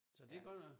Så det godt nok